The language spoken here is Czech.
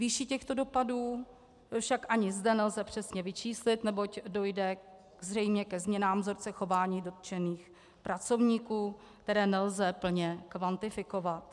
Výši těchto dopadů však ani zde nelze přesně vyčíslit, neboť dojde zřejmě ke změnám vzorce chování dotčených pracovníků, které nelze plně kvantifikovat.